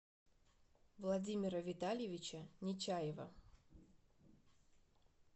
владимира витальевича нечаева